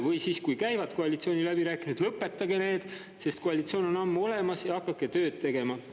Või siis, kui käivad koalitsiooniläbirääkimised, lõpetage need, sest koalitsioon on ammu olemas, ja hakake tööd tegema.